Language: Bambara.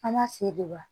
An b'a se de wa